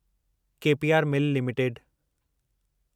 के P R Mill limited